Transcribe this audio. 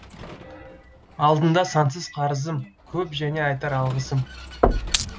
алдыңда сансыз қарызым көп және айтар алғысым